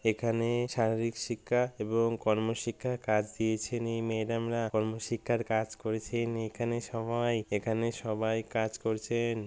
এখানে শারীরিক শিক্ষা এবং কর্মশিক্ষা কাজ দিয়েছেন এই ম্যাডাম -রা কর্মশিক্ষার কাজ করেছেন। এখানে সবাই এখানে সবাই কাজ করছেন।